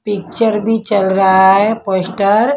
picture भी चल रहा है पोस्टर --